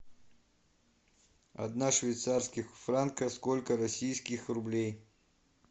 одна швейцарских франка сколько российских рублей